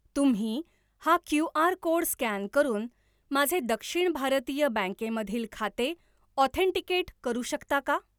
तुम्ही हा QR. Code scan करून माझे दक्षिण भारतीय बँके मधील खाते ऑथेंटिकेट करू शकता का?